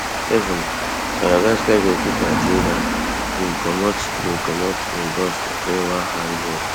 sevenmadagascar goalkeeper geordan bin comot bin comot en box to clear one high ball